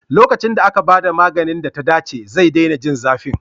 Lokacin da aka ba da maganin da ta dace, zai daina jin zafi.